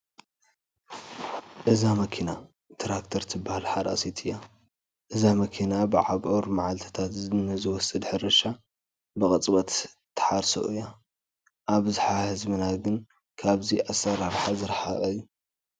እዛ መኪና ትራክተር ትበሃል ሓራሲት እያ፡፡ እዛ መኪና ብኣብዑር መዓልትታት ንዝወስድ ሕርሻ ብቅፅበት ትሓርዮ እያ፡፡ ኣብዝሓ ህዝብና ግን ካብዚ ኣሰራርሓ ዝርሓቐ እዩ፡፡